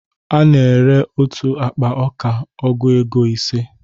A na ere otu akpa ọka ọgụ égo ise